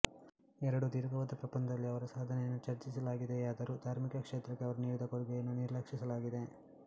ಎರಡು ದೀರ್ಘವಾದ ಪ್ರಬಂಧದಲ್ಲಿ ಅವರ ಸಾಧನೆಯನ್ನು ಚರ್ಚಿಸಲಾಗಿದೆಯಾದರೂ ದಾರ್ಮಿಕ ಕ್ಷೇತ್ರಕ್ಕೆ ಅವರು ನೀಡಿದ ಕೊಡುಗೆಯನ್ನು ನಿರ್ಲಕ್ಷಿಸಲಾಗಿದೆ